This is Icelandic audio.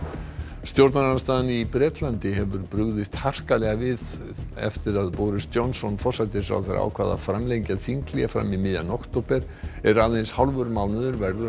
stjórnarandstaðan í Bretlandi hefur brugðist harkalega við eftir að Boris Johnson forsætisráðherra ákvað að framlengja þinghlé fram í miðjan október er aðeins hálfur mánuður verður